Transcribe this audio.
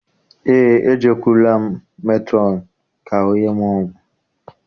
Eé, e jekụrụla m metrọn ka ọ nye m ọgwụ.